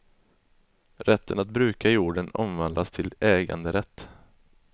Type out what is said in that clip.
Rätten att bruka jorden omvandlas till äganderätt.